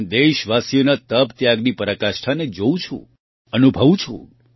હું દેશવાસીઓના તપત્યાગની પરાકાષ્ઠાને જોઉં છું અનુભવું છું